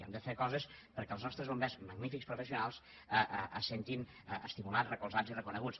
hem de fer coses perquè els nostres bombers magnífics professionals se sentin estimulats recolzats i reconeguts